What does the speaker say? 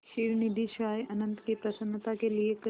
क्षीरनिधिशायी अनंत की प्रसन्नता के लिए क्